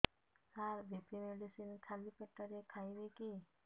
ସାର BP medicine ଖାଲି ପେଟରେ ଖାଇବି କି